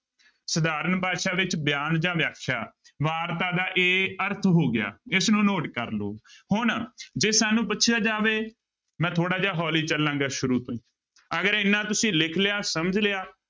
ਸਧਾਰਨ ਭਾਸ਼ਾ ਵਿੱਚ ਬਿਆਨ ਜਾਂ ਵਿਆਖਿਆ, ਵਾਰਤਾ ਦਾ ਇਹ ਅਰਥ ਹੋ ਗਿਆ ਇਸਨੂੰ note ਕਰ ਲਓ ਹੁਣ ਜੇ ਸਾਨੂੰ ਪੁੱਛਿਆ ਜਾਵੇ ਮੈਂ ਥੋੜ੍ਹਾ ਜਿਹਾ ਹੌਲੀ ਚੱਲਾਂਗਾ ਸ਼ੁਰੂ ਤੋਂ ਅਗਰ ਇੰਨਾ ਤੁਸੀਂ ਲਿਖ ਲਿਆ ਸਮਝ ਲਿਆ